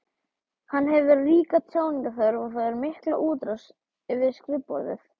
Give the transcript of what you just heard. Hann hefur ríka tjáningarþörf og fær mikla útrás við skrifborðið.